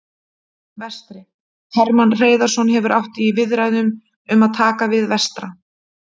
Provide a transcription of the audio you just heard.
Vestri: Hermann Hreiðarsson hefur átt í viðræðum um að taka við Vestra.